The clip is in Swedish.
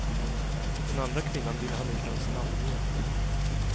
Den andra kvinnan vill han inte ens namnge.